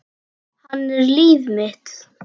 Hann er líf mitt.